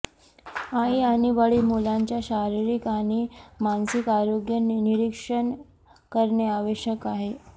आई आणि वडील मुलांच्या शारीरिक आणि मानसिक आरोग्य निरीक्षण करणे आवश्यक आहे